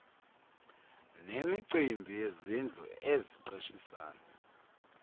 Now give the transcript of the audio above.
nemicimbi yezindlu eziqeshisayo